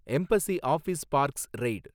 embassy Office Parks raid